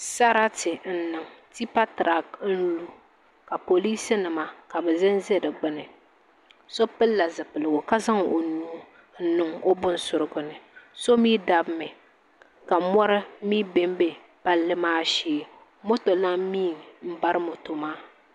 Sarati n niŋ tipa tirak n lu ka poliis nima ka bi ʒɛnʒɛ di gbuni so pilila zipiligu ka zaŋ o nuu n niŋ o bin surigu ni so mii dabimi ka mɔri mii bɛnbɛ palli maa shee moto lan mii n bari moto maa